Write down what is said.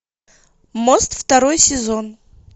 мост второй сезон